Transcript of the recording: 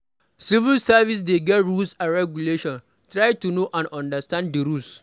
Civil service dey get rules and regulations, try to know and understand di rules